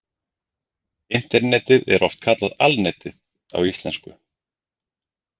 Internetið er oft kallað Alnetið á íslensku.